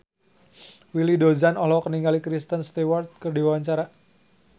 Willy Dozan olohok ningali Kristen Stewart keur diwawancara